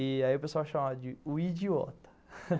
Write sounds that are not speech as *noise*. Aí o pessoal chamava de o idi e o ota *laughs*